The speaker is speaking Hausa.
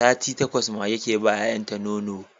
Sati takwas mage ke ba 'ya'yan sa nono